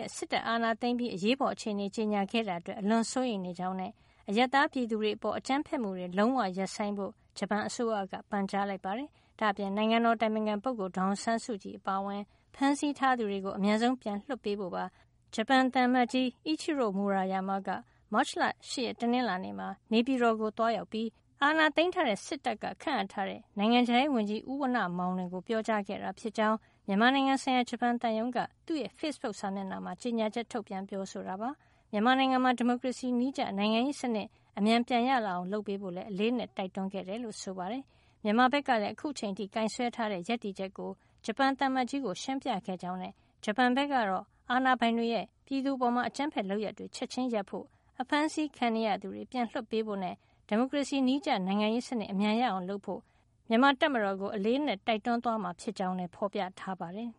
က် စစ်တပ်က အာဏာသိမ်းပြီး အရေးပေါ်အခြေနေ ကြေညာခဲ့တာအတွက် အလွန်စိုးရိမ်နေကြောင်းနဲ့ အရပ်သားပြည်သူတွေ အပေါ် အကြမ်းဖက်မှုတွေ လုံးဝရပ်ဆိုင်းဖို့ ဂျပန်အစိုးရက ပန်ကြားလိုက်ပါတယ်။ ဒါ့အပြင် နိုင်ငံတော်၏ အတိုင်ပင်ခံပုဂ္ဂိုလ် ဒေါ်အောင်ဆန်းစုကြည်အပါအဝင် ဖမ်းဆီးထားသူတွေကို အမြန်ဆုံး ပြန်လွှတ်ပေးဖို့ပါ ဂျပန်သံအမတ်ကြီး Ichiro Maruyama က မတ်လ ၈ ရက် တနင်္လာနေ့မှာ နေပြည်တော်ကို သွားရောက်ပြီး အာဏာသိမ်း စစ်တပ်က ခန့်အပ်ထားတဲ့ နိုင်ငံခြားရေးဝန်ကြီး ဦးဝဏ္ဏမောင်လွင်ကို ပြောကြားခဲ့တာဖြစ်ကြောင်း မြန်မာနိုင်ငံဆိုင်ရာ ဂျပန်သံရုံးက သူ့ရဲ့ဖေ့စ်ဘုတ်စာမျက်နှာမှာ ကြေညာချက် ထုတ်ပြန်ပြောဆိုပါတယ်။ မြန်မာနိုင်ငံမှာ ဒီမိုကရေစီနည်းကျ နိုင်ငံရေးစနစ် အမြန်ပြန်ရအောင် လုပ်ဆောင်ပေးဖို့လည်း အလေးအနက် တိုက်တွန်းခဲ့တယ်လို့ ဆိုပါတယ်။ မြန်မာဘက်ကလည်း အခုချိန်ထိ ကိုင်စွဲထားတဲ့ ရပ်တည်ချက်ကို ဂျပန်သံအမတ်ကြီးကို ရှင်းပြခဲ့ကြောင်းနဲ့ ဂျပန်ဘက်ကတော့ အာဏာပိုင်တွေရဲ့ ပြည်သူအပေါ် အကြမ်းဖက်လုပ်ရပ်တွေ ချက်ချင်းရပ်ဆိုင်းဖို့၊ အဖမ်းဆီးခံနေရသူတွေ ပြန်လွှတ်ပေးဖို့နဲ့ ဒီမိုကရေစီနည်းကျ နိုင်ငံရေးစံနစ် အမြန်ရအောင်လုပ်ဖို့ မြန်မာတပ်မတော်ကို အလေးအနက် တိုက်တွန်းသွားမှာ ဖြစ်ကြောင်းလည်း ဖေါ်ပြထားပါတယ်